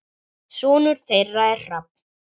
Sonur þeirra er Hrafn.